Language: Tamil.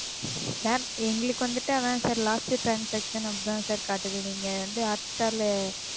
Sir எங்களுக்கு வந்துட்டு அதான் Sir last transaction அப்படி தான் Sir காட்டுது நீங்க வந்து Hotstar ல,